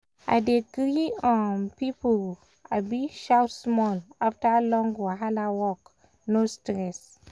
i dey gree um people um shout small after long wahala work no stress um